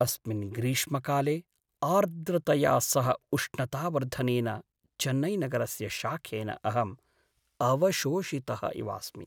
अस्मिन् ग्रीष्मकाले आर्द्रतया सह उष्णतावर्धनेन चेन्नैनगरस्य शाखेन अहं अवशोषितः इवास्मि।